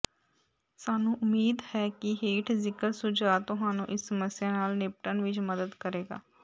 ਸਾਨੂੰ ਉਮੀਦ ਹੈ ਕਿ ਹੇਠ ਜ਼ਿਕਰ ਸੁਝਾਅ ਤੁਹਾਨੂੰ ਇਸ ਸਮੱਸਿਆ ਨਾਲ ਨਿਪਟਣ ਵਿੱਚ ਮਦਦ ਕਰੇਗਾ